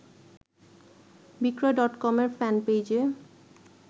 বিক্রয় ডটকমের ফ্যানপেইজে